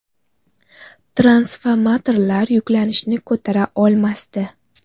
Transformatorlar yuklanishni ko‘tara olmasdi.